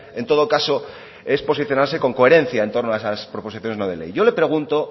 en todo caso es posicionarse con coherencia en torno a esas proposiciones no de ley yo le pregunto